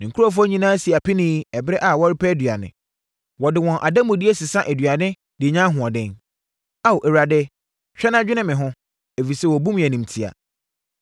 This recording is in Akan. Ne nkurɔfoɔ nyinaa si apinie ɛberɛ a wɔrepɛ aduane; wɔde wɔn ademudeɛ sesa aduane de nya ahoɔden. “Ao, Awurade, hwɛ na dwene me ho, ɛfiri sɛ wɔbu me animtia.”